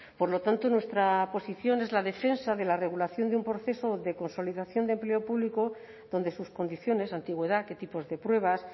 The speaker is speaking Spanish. por lo tanto nuestra posición es la defensa de la regulación de un proceso de consolidación de empleo público donde sus condiciones antigüedad qué tipos de pruebas